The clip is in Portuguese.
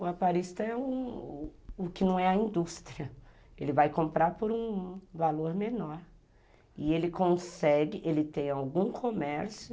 O aparista é o que não é a indústria, ele vai comprar por um valor menor e ele consegue, ele tem algum comércio